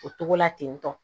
O togo la ten tɔ